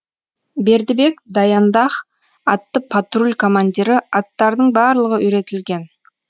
бердібек даяндах атты патруль командирі аттардың барлығы үйретілген